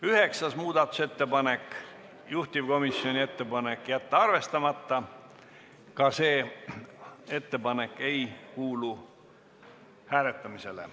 Üheksas muudatusettepanek, samuti Reformierakonna fraktsioonilt, juhtivkomisjoni ettepanek: jätta arvestamata, ka see ettepanek ei kuulu hääletamisele.